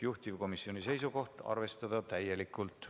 Juhtivkomisjoni ettepanek on eelnõu 239 teine lugemine lõpetada.